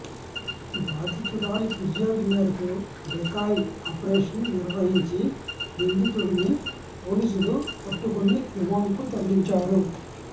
బాధితురాలి ఫిర్యాదు మేరకు డెకాయ్ ఆపరేషన్ నిర్వహించి నిందితుడిని పోలీసులు పట్టుకొని రిమాండ్కు తరలించారు